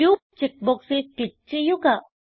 group check ബോക്സിൽ click ചെയ്യുക